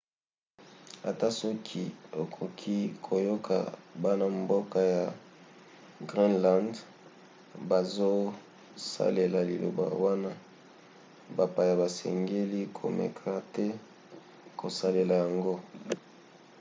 ata soki okoki koyoka bana-mboka ya groenland bazosalela liloba wana bapaya basengeli komeka te kosalela yango